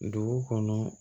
Dugu kɔnɔ